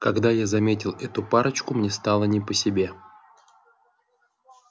когда я заметил эту парочку мне стало не по себе